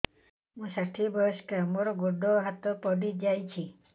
ମୁଁ ଷାଠିଏ ବୟସ୍କା ମୋର ଗୋଡ ହାତ ପଡିଯାଇଛି